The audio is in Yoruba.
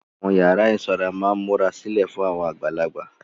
Àwọn yàrá ìsanra máa ń múra sílẹ̀ fún àgbàlagbà.